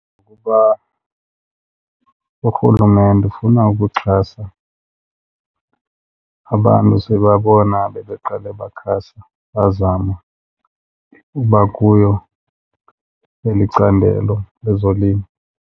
Kuba urhulumente ufuna ukuxhasa abantu sibabona bebeqala bakhasa bazama uba kuyo eli candelo lezolimo.